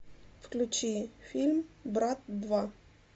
включи фильм брат два